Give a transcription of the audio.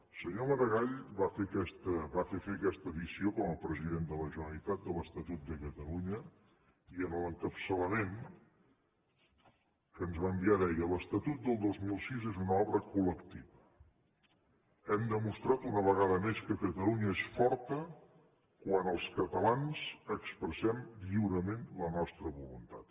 el senyor maragall va fer fer aquesta edició com a presi dent de la generalitat de l’estatut de catalunya i en l’encapçalament que ens va enviar deia l’estatut del dos mil sis és una obra col·lectiva hem demostrat una ve ga da més que catalunya és forta quan els catalans expressem lliurement la nostra voluntat